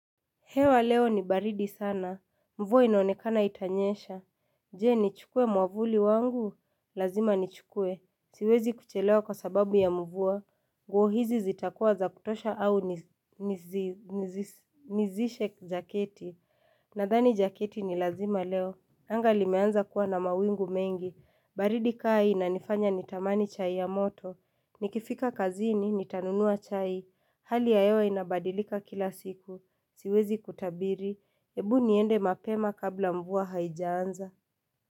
Hewa leo ni baridi sana. Mvua inaonekana itanyesha. Je, ni chukue mwavuli wangu? Lazima ni chukue. Siwezi kuchelewa kwa sababu ya mvua. Nguo hizi zitakuwa za kutosha au nizishe jaketi. Nadhani jaketi ni lazima leo. Anga limeanza kuwa na mawingu mengi. Baridi kaa hii inanifanya nitamani chai ya moto. Nikifika kazini, nitanunua chai. Hali ya hewa inabadilika kila siku. Siwezi kutabiri, ebu niende mapema kabla mvua haijaanza.